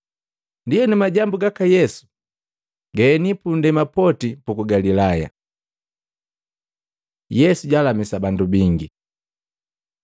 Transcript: Ndienu majambu gaka Yesu gaeni pundema poti puku Galilaya. Yesu jalamisa bandu bingi Matei 8:14-17; Maluko 1:29-34